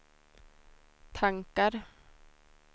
tankar